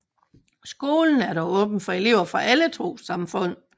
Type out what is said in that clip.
Skolen er dog åben for elever fra alle trossamfund